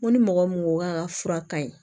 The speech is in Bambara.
N ko ni mɔgɔ mun ko k'a ka fura ka ɲi